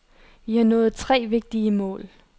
Vi har nået tre vigtige mål.